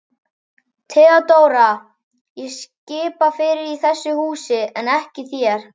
THEODÓRA: Ég skipa fyrir í þessu húsi en ekki þér.